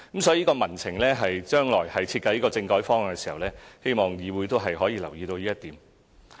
所以，將來在設計政改方案時，希望議會可以留意民情這一點。